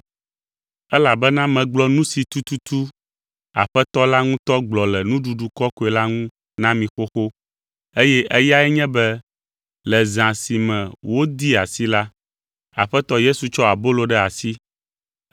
Elabena megblɔ nu si tututu Aƒetɔ la ŋutɔ gblɔ le Nuɖuɖu Kɔkɔe la ŋu na mi xoxo eye eyae nye be: Le zã si me wodee asi la, Aƒetɔ Yesu tsɔ abolo ɖe asi,